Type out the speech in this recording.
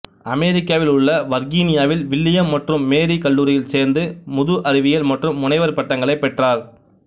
அமெரிக்காவில் உள்ள வர்கீனியாவில் வில்லியம் மற்றும் மேரி கல்லூரியில் சேர்ந்து முது அறிவியல் மற்றும் முனைவர் பட்டங்களைப் பெற்றார்